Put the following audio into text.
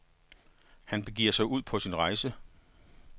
Han begiver sig ud på sin rejse.